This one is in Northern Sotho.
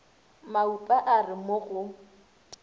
maupa a re mo go